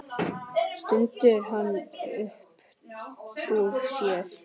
stundi hann upp úr sér.